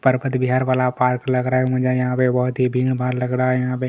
परपत बिहार वाला पार्क लग रहा है मुझे यहाँ पे बहुत ही भीड़ भाड़ लग रहा है यहाँ पे--